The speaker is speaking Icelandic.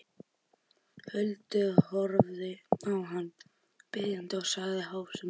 Huldu, horfði á hana biðjandi og sagði hásum rómi